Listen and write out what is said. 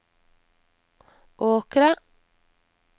Åkra